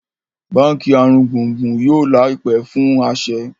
bánkì aringbungbun yóò láìpé fún a aṣẹ